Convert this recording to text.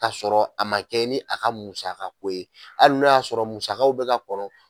Ka sɔrɔ a ma kɛ ni a ka musakaka ko ye, hali n'o y'a sɔrɔ musakaw bɛ ka kɔnɔ.